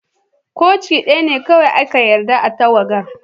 Koci daya ne kowai ana yarda a'tagawar.